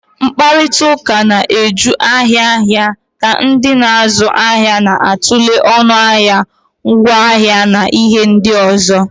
Mkparịta ụka na-eju ahịa ahịa ka ndị na-azụ ahịa na-atụle ọnụ ahịa, ngwaahịa na ihe ndị ọzọ.